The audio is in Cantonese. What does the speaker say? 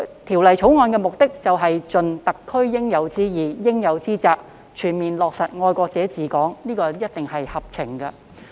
《條例草案》的目的便是盡特區應有之義、應有之責，全面落實"愛國者治港"，這一定是合情的。